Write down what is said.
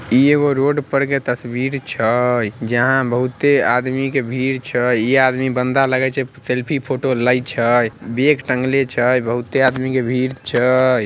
इ एगो रोड पर के तस्वीर छय जहाँ बहुते आदमी के भीड़ छय इ आदमी बंदा लगय छै सेल्फी फोटो लेइ छय बैग टंगले छय बहुते आदमी के भीड़ छय।